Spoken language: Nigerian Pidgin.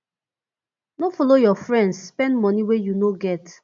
no follow your friends spend money wey you no get